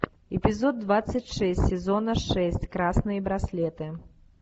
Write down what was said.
эпизод двадцать шесть сезона шесть красные браслеты